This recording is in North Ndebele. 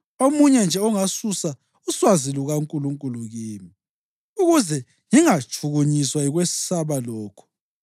omunye nje ongasusa uswazi lukaNkulunkulu kimi, ukuze ngingatshukunyiswa yikwesaba lokhu.